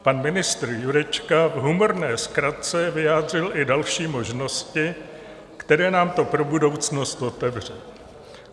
Pan ministr Jurečka v humorné zkratce vyjádřil i další možnosti, které nám to pro budoucnost otevře.